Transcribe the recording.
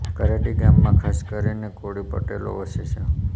કરાડી ગામમાં ખાસ કરીને કોળી પટેલો વસે છે